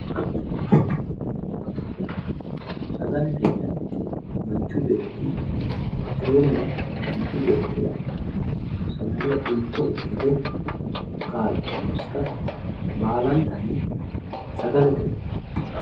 Sagale sagalete yinanniti manchu beetti iteenna manchu beettira sagale unto ikkite kaa'litannosita baalantanni sagalete yinanni